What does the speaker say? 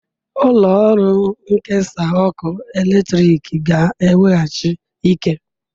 Ụlọ ọrụ nkesa ọkụ eletrik ga-eweghachi ike.